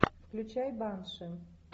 включай банши